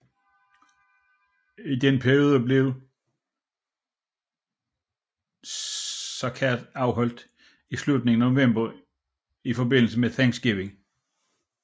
I den periode blev Starrcade afholdt i slutningen af november i forbindelse med Thanksgiving